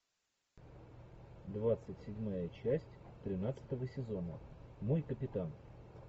двадцать седьмая часть тринадцатого сезона мой капитан